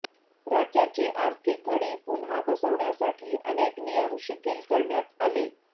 राज्याची आर्थिक घडी पुन्हा बसवण्यासाठी अनेक नियम शिथिल करण्यात आले